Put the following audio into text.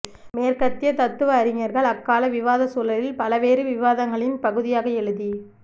மேற்கத்திய தத்துவ அறிஞர்கள் அக்கால விவாத சூழலில் பலவேறு விவாதங்களின் பகுதியாக எழுதி